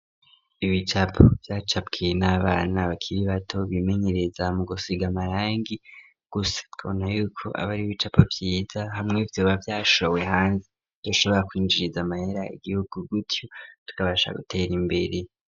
Ibicapo vyacapwe n'abana bakiri bato bimenyereza mu gusiga amarangi gusa twobona yuko ari ibicapo vyiza hamwe vyoba vyashowe hanze vyoshobora kwinjiriza amahera igihugu gutyo tukabasha gutera imbere.